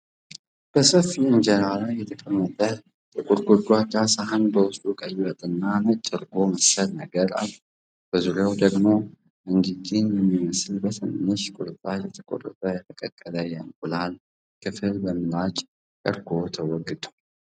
በሰፊ ኢንጀራ ላይ የተቀመጠ ጥቁር ጎድጓዳ ሳህን በውስጡ ቀይ ወጥ እና ነጭ እርጎ መሰል ነገር አለው። በዙሪያው ደግሞ እንዳዲን በሚመስሉ በትንንሽ ቁርጥራጮች የተቆረጠ የተቀቀለ የእንቁላል ክፍል በምላጭ (በቀርቆ) ተወግተዋል።